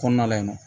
Kɔnɔna la yen nɔ